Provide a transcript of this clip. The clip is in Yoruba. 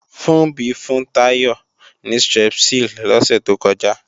Funbí fún Táyọ̀ ní Strepsil lọ́sẹ̀ tó kọjá